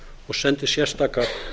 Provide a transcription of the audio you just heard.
og sendi sérstakar